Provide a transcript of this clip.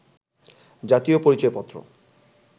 জাতীয় পরিচয় পত্র